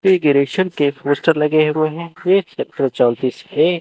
ये ग्रेशन के पोस्टर लगे हुए हैं सेक्टर चौतीस ए।